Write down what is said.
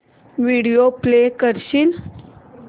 video play करशील